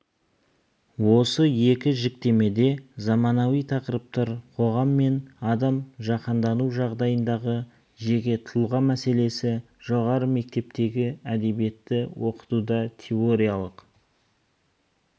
осы екі жіктемеде заманауи тақырыптар қоғам мен адам жаһандану жағдайындағы жеке тұлға мәселесі жоғары мектептегі әдебиетті оқытуда теориялық